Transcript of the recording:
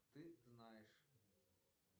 ты знаешь